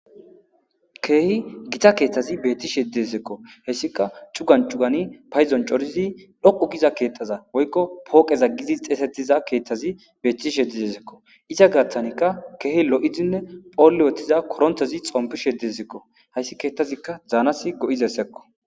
Keehi gita keeththazi beettishe yeddizekko hessika cugancugani payzon corizi dhoqu giza keettaza woykko pooqeza gizi xeesetiza keeththazi beettish yedidesekko iza gaththanikka keehi lo'izinne phoolle wotiza koronthazi xompish yedizekko hayssi keeththazikka zaanas go'izessekko.